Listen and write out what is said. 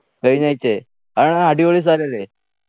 കഴിഞ്ഞാഴ്ചയെ ആഹ് അടിപൊളി സ്ഥലല്ലേ